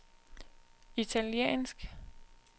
italiensk